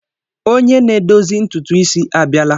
Onye na-edozi ntutu isi a bịala.